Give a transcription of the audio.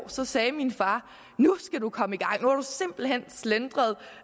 sagde min far nu skal du komme i gang nu har du simpelt hen slentret